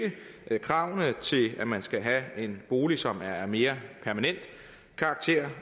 kravene til at man skal have en bolig som er af mere permanent karakter